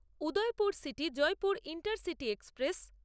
Udaipur সিটি-জয়পুর intercity express